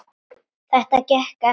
Þetta gekk eftir.